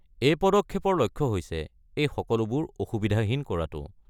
এই পদক্ষেপৰ লক্ষ্য হৈছে এই সকলোবোৰ অসুবিধাহীন কৰাটো।